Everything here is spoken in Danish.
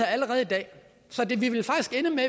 allerede i dag så